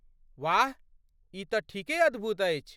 वाह! ई तँ ठीके अद्भुत अछि।